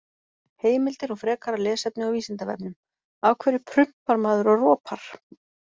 Heimildir og frekara lesefni á Vísindavefnum: Af hverju prumpar maður og ropar?